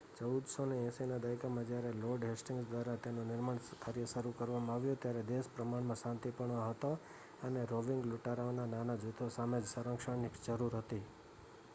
1480ના દાયકામાં જ્યારે lord Hastings દ્વારા તેનું નિર્માણ શરૂ કરવામાં આવ્યું ત્યારે દેશ પ્રમાણમાં શાંતિપૂર્ણ હતો અને રોવિંગ લૂંટારાઓના નાના જૂથો સામે જ સંરક્ષણની જરૂર હતી